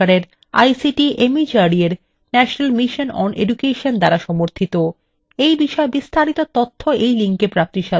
এই বিষয় বিস্তারিত তথ্য এই লিঙ্কএ প্রাপ্তিসাধ্য